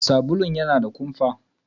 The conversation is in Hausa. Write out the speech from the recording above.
Sabulun yana da kumfa.